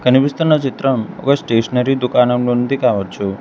కనిపిస్తున్న చిత్రం ఒక స్టేషనరీ దుకాణం నుంది కావచ్చు.